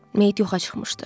Meyit yoxa çıxmışdı.